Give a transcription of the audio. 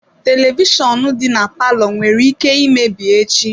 Televishọnụ dị na palour nwere ike imebi echi.